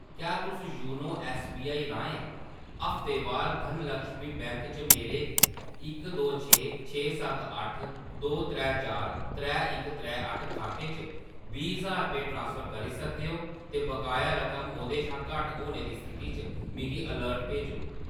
क्या तुस YONO SBI राहें हफ्तेवार धनलक्ष्मी बैंक च मेरे इक दो छे छे सत्त अट्ठ दो त्रै चार त्रै अक त्रै अट्ठ खाते च बीह् ज्हार रपेऽ ट्रांसफर करी सकदे ओ ते बकाया रकम ओह्दे शा घट्ट होने दी स्थिति च मिगी अलर्ट भेजो?